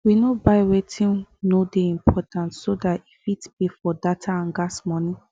we no buy wetin no dey important so that e fit pay for data and gas money